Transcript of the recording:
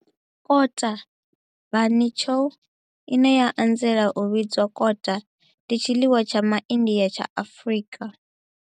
Kota, bunny chow, ine ya anzela u vhidzwa kota, ndi tshiḽiwa tsha MaIndia tsha Afrika.